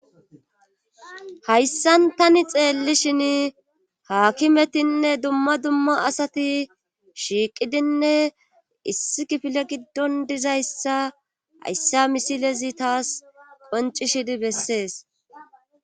hayssan tani xeelli shin haakimetinne dumma dumma asati shiiqidinne issi kifile giddon dizayssa hayssa misilezi taas qoncishidi bessees